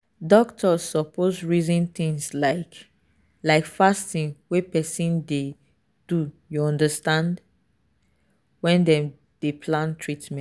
doctors suppose reason things like like fasting wey person dey do you understand when dem dey plan treatment.